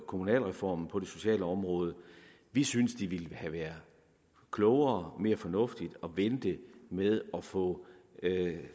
kommunalreformen på det sociale område vi synes det ville have været klogere og mere fornuftigt at vente med at få